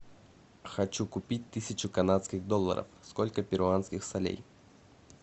хочу купить тысячу канадских долларов сколько перуанских солей